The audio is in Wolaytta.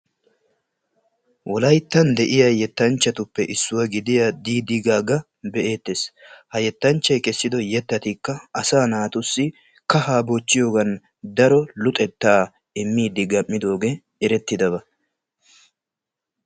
Wolayttan de"iya yettanchchatuppe issuwa gidiya diidi gaaga be"eettes. Ha yettanchchayi kessido yettatikka asaa naatussi kahaa bochchiyogan daro luxettaa immiiddi gamm"idoogee erettidaba.